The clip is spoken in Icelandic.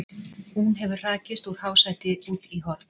Hún hefur hrakist úr hásæti út í horn.